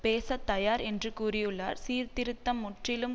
பேச தயார் என்று கூறியுள்ளார் சீர்திருத்தம் முற்றிலும்